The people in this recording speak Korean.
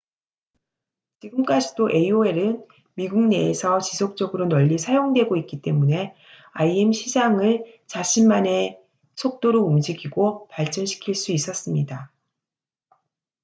지금까지도 aol은 미국 내에서 지속적으로 널리 사용되고 있기 때문에 im 시장을 자신만의 속도로 움직이고 발전시킬 수 있었습니다